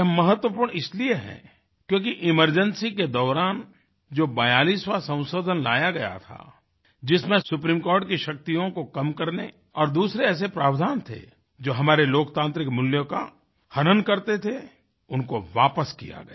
यह महत्वपूर्ण इसलिए है क्योंकि एमरजेंसी के दौरान जो 42वाँ संशोधन लाया गया था जिसमें सुप्रीमकोर्टकी शक्तियों को कम करने और दूसरे ऐसे प्रावधान थे जो हमारे लोकतान्त्रिक मूल्यों का हनन करते थे उनको वापिस किया गया